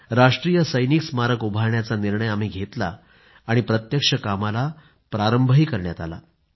राष्ट्रीय सैनिक स्मारक उभारण्याचा निर्णय आम्ही घेतला आणि प्रत्यक्ष कामाला प्रारंभही करण्यात आला